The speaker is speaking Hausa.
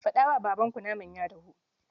Faɗa wa babanku naman ya dahu.